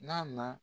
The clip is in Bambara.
N'a na